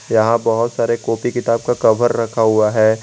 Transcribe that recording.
यहां बहुत सारे कॉपी किताब का कवर रखा हुआ है।